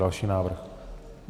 Další návrh.